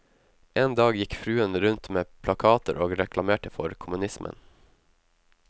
En dag gikk fruen rundt med plakater og reklamerte for kommunismen.